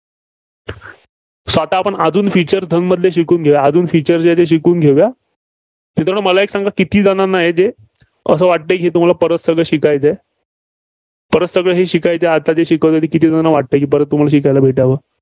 so आता आपण अजून Features धनमधले शिकून घेऊया. अजून Features आहेत, ते शिकून घेऊया. मित्रांनो मला एक सांगा की. किती जणांना आहे ते असं वाटतं की तुम्हाला परत सगळं शिकायचं आहे. परत सगळं हे शिकायचं आहे, आता जे शिकवलंय ते किती जणांना वाटतंय परत तुम्हाला शिकायला भेटावं?